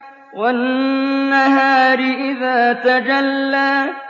وَالنَّهَارِ إِذَا تَجَلَّىٰ